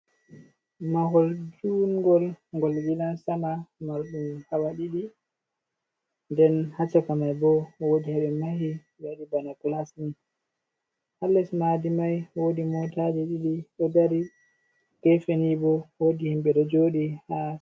Mahol jungol ngol gidan sama marɗum hawa ɗiɗi nden hachaka mai bo wodi ɓe mahi waɗi bana clasni ha les madi mai wodi motaje ɗiɗi do dari gefeni bo wodi himbe ɗo joɗi ha.